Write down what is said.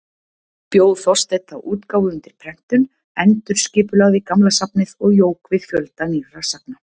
Bjó Þorsteinn þá útgáfu undir prentun, endurskipulagði gamla safnið og jók við fjölda nýrra sagna.